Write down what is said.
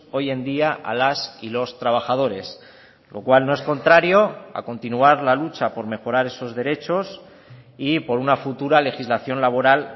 hoy en día a las y los trabajadores lo cual no es contrario a continuar la lucha por mejorar esos derechos y por una futura legislación laboral